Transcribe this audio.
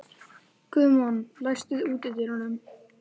Guðmon, læstu útidyrunum.